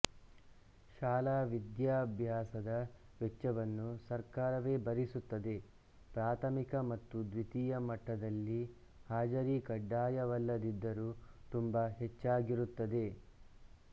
ಶಾಲಾ ವಿದ್ಯಾಭ್ಯಾಸದ ವೆಚ್ಛವನ್ನು ಸರ್ಕಾರವೇ ಭರಿಸುತ್ತದೆ ಪ್ರಾಥಮಿಕ ಮತ್ತು ದ್ವಿತೀಯ ಮಟ್ಟದಲ್ಲಿ ಹಾಜರಿ ಕಡ್ಡಾಯವಲ್ಲದಿದ್ದರೂ ತುಂಬಾ ಹೆಚ್ಚಾಗಿರುತ್ತದೆ